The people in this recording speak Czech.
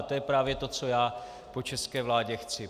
A to je právě to, co já po české vládě chci.